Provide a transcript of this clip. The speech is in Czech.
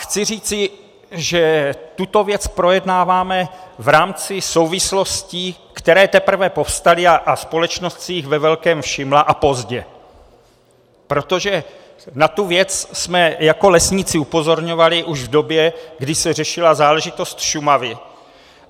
Chci říci, že tuto věc projednáváme v rámci souvislostí, které teprve povstaly, a společnost si jich ve velkém všimla, a pozdě, protože na tuto věc jsme jako lesníci upozorňovali už v době, kdy se řešila záležitost Šumavy.